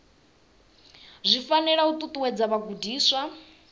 zwi fanela u ṱuṱuwedza vhagudiswa